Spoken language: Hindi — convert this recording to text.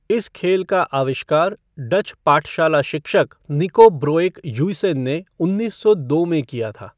इस खेल का आविष्कार डच पाठशाला शिक्षक निको ब्रोएकह्युइसेन ने उन्नीस सौ दो में किया था।